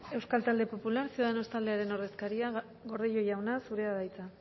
euskal talde popular ciudadanos taldearen ordezkaria gordillo jauna zurea da hitza